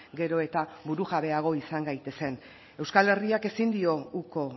gero eta burujabeago izan gaitezen euskal herriak ezin dio uko